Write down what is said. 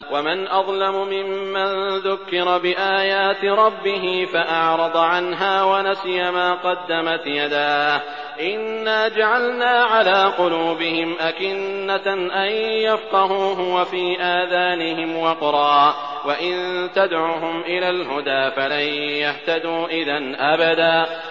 وَمَنْ أَظْلَمُ مِمَّن ذُكِّرَ بِآيَاتِ رَبِّهِ فَأَعْرَضَ عَنْهَا وَنَسِيَ مَا قَدَّمَتْ يَدَاهُ ۚ إِنَّا جَعَلْنَا عَلَىٰ قُلُوبِهِمْ أَكِنَّةً أَن يَفْقَهُوهُ وَفِي آذَانِهِمْ وَقْرًا ۖ وَإِن تَدْعُهُمْ إِلَى الْهُدَىٰ فَلَن يَهْتَدُوا إِذًا أَبَدًا